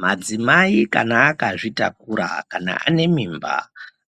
Madzimai kana akazvitakura kana ane mimba